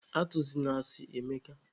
Atụzịna asị, Emeka!